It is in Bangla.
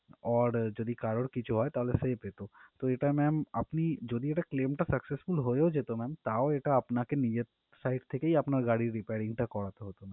Or যদি কারোর কিছু হয় তাহলে সে পেত তো এটা ma'am আপনি যদি claim টা successful হয়েও যেত ma'am তাও এটা আপনাকে নিজের side থেকেই আপনার নিজের গাড়ির repairing টা করতে হতো।